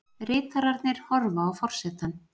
Ritararnir horfa á forsetann.